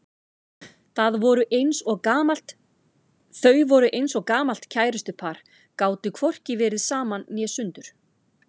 Þau voru eins og gamalt kærustupar, gátu hvorki verið saman né sundur.